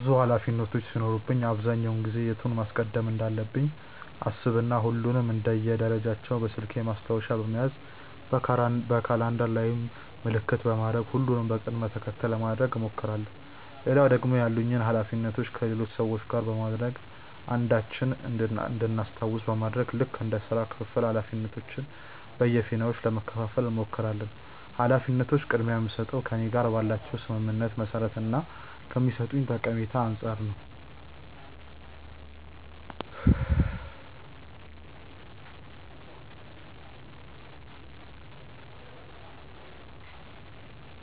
ብዙ ኃላፊነቶች ሲኖሩብኝ አብዛኛውን ጊዜ የቱን ማስቀደም እንዳለብኝ አሰብ እና ሁሉንም እንደ ደረጃቸው በስልኬ ማስታወሻ በመያዝ በካላንደር ላይም ምልክት በማድረግ ሁሉንም በቅድም ተከተል ለማድረግ እሞክራለው። ሌላው ደግሞ ያሉኝን ኃላፊነቶች ከሌሎች ሰዎች ጋር በማድረግ አንዳችን እንድናስታውስ በማድረግ ልክ እንደ ስራ ክፍፍል ኃላፊነቶችን በየፊናችን ለመከፈፋል እንሞክራለን። ኃላፊነቶችን ቅድምያ የምስጠው ከእኔ ጋር ባላቸው ስምምነት መሰረት እና ለኔ ከሚሰጡኝ ጠቀሜታ አንፃር ነው።